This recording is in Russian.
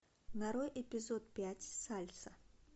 нарой эпизод пять сальса